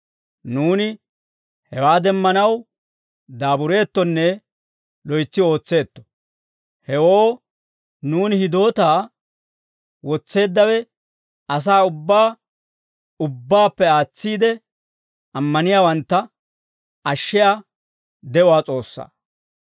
Nuuni hewaa demmanaw daabureettonne loytsi ootseetto; hewoo nuuni hidootaa wotseeddawe asaa ubbaa, ubbaappe aatsiide, ammaniyaawantta ashshiyaa de'uwaa S'oossaa.